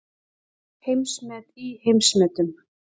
Heimsmet í heimsmetum